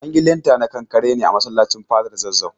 An yi linta na kankare ne a masallacin Fadar Zazzau.